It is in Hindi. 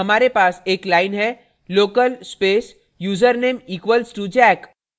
function block के अंदर हमारे पास एक line है local space username equals to jack